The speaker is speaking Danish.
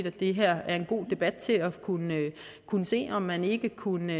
at det her er en god debat til at kunne kunne se om man ikke kunne